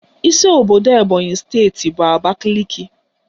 Isi obodo Ebonyị steeti bụ Abakaliki